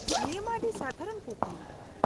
-ᱱᱤᱭᱟᱹ ᱢᱟ ᱟᱹᱰᱤ ᱥᱟᱫᱷᱟᱨᱚᱱ ᱠᱩᱠᱞᱤ ᱾